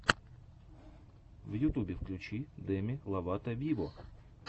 в ютюбе включи деми ловато виво